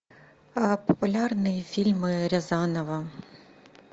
популярные фильмы рязанова